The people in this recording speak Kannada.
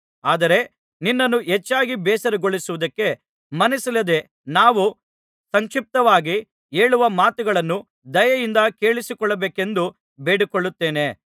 ಆದರೆ ನಿನ್ನನ್ನು ಹೆಚ್ಚಾಗಿ ಬೇಸರಗೊಳಿಸುವುದಕ್ಕೆ ಮನಸ್ಸಿಲ್ಲದೆ ನಾವು ಸಂಕ್ಷಿಪ್ತವಾಗಿ ಹೇಳುವ ಮಾತುಗಳನ್ನು ದಯೆಯಿಂದ ಕೇಳಿಸಿಕೊಳ್ಳಬೇಕೆಂದು ಬೇಡಿಕೊಳ್ಳುತ್ತೇನೆ